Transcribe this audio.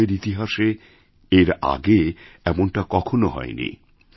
ভারতেরইতিহাসে এর আগে এমনটা কখনও হয়নি